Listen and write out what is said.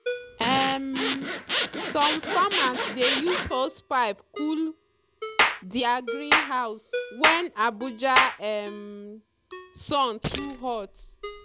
um some farmers dey use hosepipe cool their greenhouse when abuja um sun too hot.